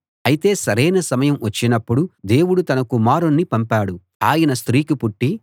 అయితే సరైన సమయం వచ్చినపుడు దేవుడు తన కుమారుణ్ణి పంపాడు ఆయన స్త్రీకి పుట్టి